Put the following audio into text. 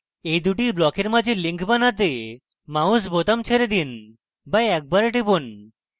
এই দুটি ব্লকের মাঝে link বানাতে mouse বোতাম ছেড়ে দিন বা একবার টিপুন